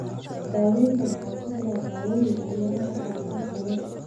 Daaweynta waxaa ku jira daawooyin iyo mararka qaarkood qalliin.